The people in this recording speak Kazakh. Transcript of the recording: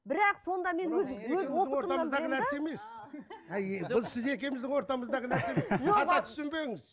бірақ сонда мен өз нәрсе емес ол сіз екеуміздің ортасындағы нәрсе емес қате түсінбеңіз